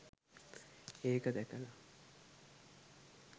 එක දැකලා